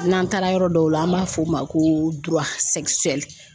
N'an taara yɔrɔ dɔw la, an b'a fɔ o ma ko